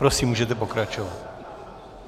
Prosím, můžete pokračovat.